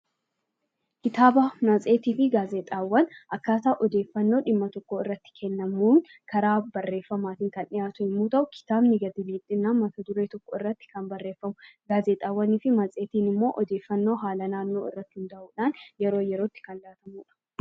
Kitaaba, matseetii fi gaazexaawwan akkaataa odeeffannoon dhimma tokkoo irratti kennamuun bifa barreeffamaatiin kan dhiyaatu yommuu ta'u, kitaabni immoo mata duree tokkorratti kan barreeffamudha. Gaazexaawwanii fi matseetiin immoo odeeffannoo haala naannoo irratti hundaa'uudhaan yeroo yerootti kan laatamudha.